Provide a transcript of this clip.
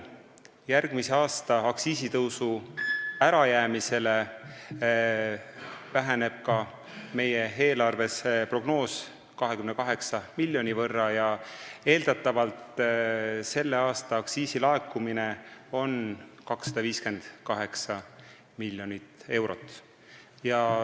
Järgmise aasta aktsiisitõusu ärajäämise tõttu väheneb meie eelarves prognoos tervikuna 28 miljoni võrra ja eeldatavalt laekub sellel aastal aktsiisi 258 miljonit eurot.